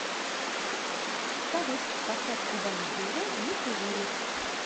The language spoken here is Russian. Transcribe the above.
салют поставь губа не дура не курили